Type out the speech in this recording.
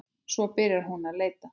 Svo byrjaði hún að leita.